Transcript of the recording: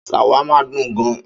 Ṣàwámà dùn gan-an.